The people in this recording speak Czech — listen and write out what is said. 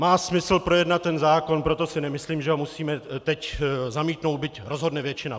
Má smysl projednat ten zákon, proto si nemyslím, že ho musíme teď zamítnout, byť rozhodne většina.